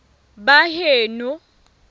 baheno